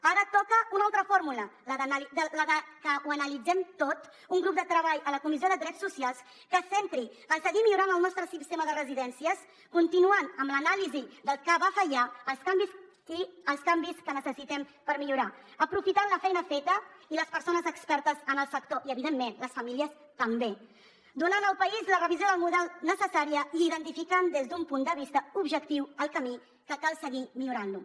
ara toca una altra fórmula la de que ho analitzem tot un grup de treball a la comissió de drets socials que es centri en seguir millorant el nostre sistema de residències continuant amb l’anàlisi del que va fallar i els canvis que necessitem per millorar aprofitant la feina feta i les persones expertes en el sector i evidentment les famílies també donant al país la revisió del model necessària i identificant des d’un punt de vista objectiu el camí que cal seguir i millorar lo